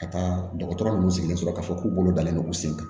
Ka taa dɔgɔtɔrɔ nunnu sigilen sɔrɔ k'a fɔ k'u bolo dalen no u sen kan